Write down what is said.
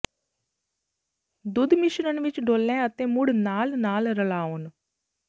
ਦੁੱਧ ਮਿਸ਼ਰਣ ਵਿੱਚ ਡੋਲ੍ਹ ਅਤੇ ਮੁੜ ਨਾਲ ਨਾਲ ਰਲਾਉਣ